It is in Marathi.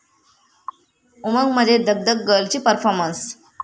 उमंग'मध्ये 'धकधक गर्ल'ची परफॉमर्न्स